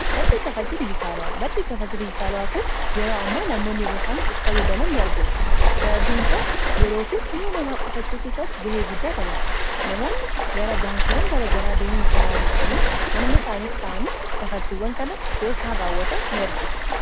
maddii kafaltii dijitaalawaa kun yeroo amma namoonni yeroo saanitti fayyadaman in argina. sababiin isaas yeroo fi huna namaa qosachuu keessatti ga'ee guddaa taphata. namoonni gara baankiiwwan gara garaa deeman osoo irraan hin eeggamiin manuma isaaniitti ta'anii kafaltiiwwan kana yeroosaan raawwata in argina.